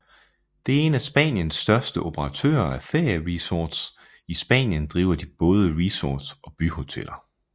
Det er en af Spaniens største operatører af ferieresorts I Spanien driver de både resorts og byhoteller